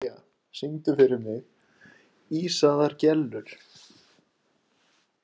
Evlalía, syngdu fyrir mig „Ísaðar Gellur“.